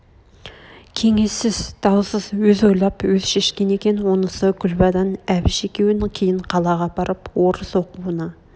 кеңессіз даусыз өз ойлап өз шешкен екен онысы күлбадан әбіш екеуін кейін қалаға апарып орыс оқуына